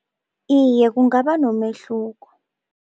Iye, kungaba nomehluko.